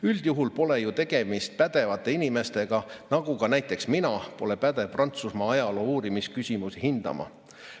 Üldjuhul pole ju tegemist pädevate inimestega, nagu ka näiteks mina pole pädev Prantsusmaa ajaloo uurimise küsimusi hindama.